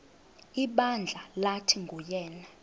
ibandla lathi nguyena